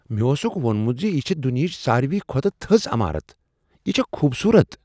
مےٚ اوسکھ ووٚنمت ز یہ چھےٚ دنیاہٕچ ساروٕے کھوتہٕ تھٔز عمارت۔ یہ چھےٚ خوبصورت!